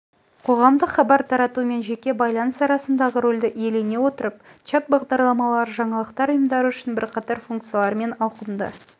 қоғамдық хабар тарату мен жеке байланыс арасындағы рөлді иелене отырып чат бағдарламалары жаңалықтар ұйымдары үшін бірқатар функциялар мен ауқымды